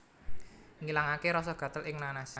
Ngilangaké rasa gatel ing nanas